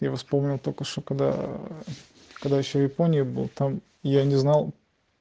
его вспомнил только что когда когда ещё японии был там я не знал